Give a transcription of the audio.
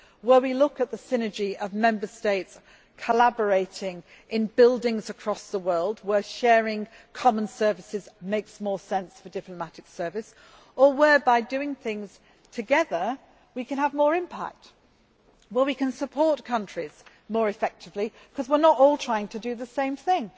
We are also looking at the synergy of Member States collaborating in buildings across the world, where sharing common services makes more sense for the diplomatic service or where, by doing things together, we can have more impact and we can support countries more effectively because we are not all trying to do the same thing.